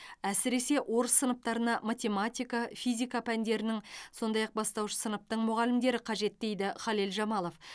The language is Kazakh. әсіресе орыс сыныптарына математика физика пәндерінің сондай ақ бастауыш сыныптың мұғалімдері қажет дейді хәлел жамалов